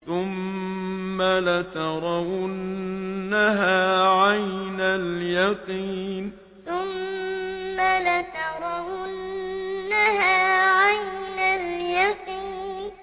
ثُمَّ لَتَرَوُنَّهَا عَيْنَ الْيَقِينِ ثُمَّ لَتَرَوُنَّهَا عَيْنَ الْيَقِينِ